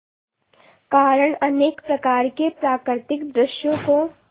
कारण अनेक प्रकार के प्राकृतिक दृश्यों को